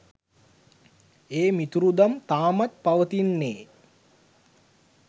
ඒ මිතුරුදම් තාමත් පවතින්නේ